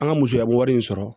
An ka musoyabon wari in sɔrɔ